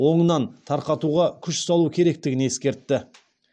оңынан тарқатуға күш салу керектігін ескертті